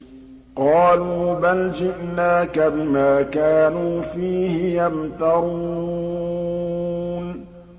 قَالُوا بَلْ جِئْنَاكَ بِمَا كَانُوا فِيهِ يَمْتَرُونَ